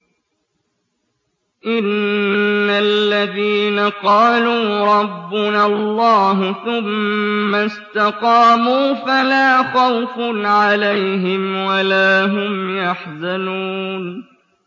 إِنَّ الَّذِينَ قَالُوا رَبُّنَا اللَّهُ ثُمَّ اسْتَقَامُوا فَلَا خَوْفٌ عَلَيْهِمْ وَلَا هُمْ يَحْزَنُونَ